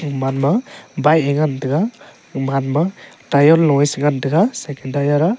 man ma bike e ngan taga kuman ma tier lo e cha ngan taga second tier a.